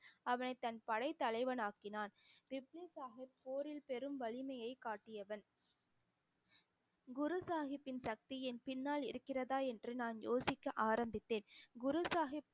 அவனை தன் படை தலைவன் ஆக்கினான் சாஹிப் போரில் பெரும் வலிமையை காட்டியவன். குரு சாஹிப்பின் சக்தியின் பின்னால் இருக்கிறதா என்று நான் யோசிக்க ஆரம்பித்தேன் குரு சாஹிப்